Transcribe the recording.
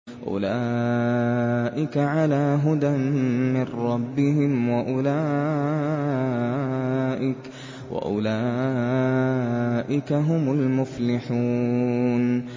أُولَٰئِكَ عَلَىٰ هُدًى مِّن رَّبِّهِمْ ۖ وَأُولَٰئِكَ هُمُ الْمُفْلِحُونَ